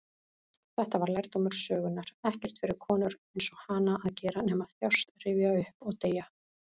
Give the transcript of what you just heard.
Þetta var lærdómur sögunnar: ekkert fyrir konur-einsog-hana að gera nema þjást, rifja upp, og deyja.